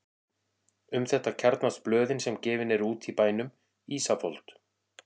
Um þetta kjarnast blöðin sem gefin eru út í bænum: Ísafold